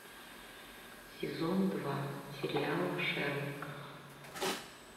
сезон два сериала шерлок